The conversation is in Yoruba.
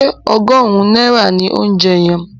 Ṣé ọgọ́rùn-ún náírà ni óunjẹ yẹn?